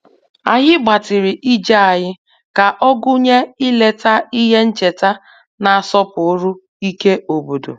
Anyị gbatịrị ije anyị ka ọ gụnye ileta ihe ncheta na-asọpụrụ ike obodo